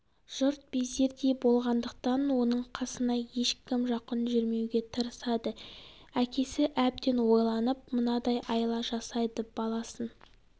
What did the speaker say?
жұрт безердей болғандықтан оның қасына ешкім жақын жүрмеуге тырысады әкесі әбден ойланып мынадай айла жасайды баласын